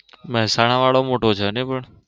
મહેસાણા વાળો મોટો છે નઈ પણ.